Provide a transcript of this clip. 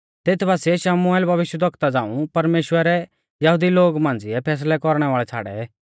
तेथ बासिऐ शमुएल भविष्यवक्ता झ़ांऊ परमेश्‍वरै यहुदी लोगु मांझ़िऐ फैसलै कौरणै वाल़ै छ़ाड़ै